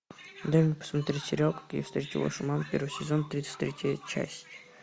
дай мне посмотреть сериал как я встретил вашу маму первый сезон тридцать третья часть